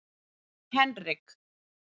Henrik